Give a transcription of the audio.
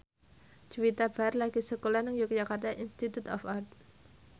Juwita Bahar lagi sekolah nang Yogyakarta Institute of Art